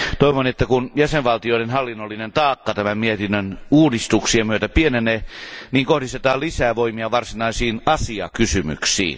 Toivon, että kun jäsenvaltioiden hallinnollinen taakka tämän mietinnön uudistuksien myötä pienenee, kohdistetaan lisää voimia varsinaisiin asiakysymyksiin.